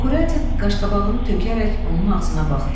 Kuratin qaşqabağını tökərək onun ağzına baxdı.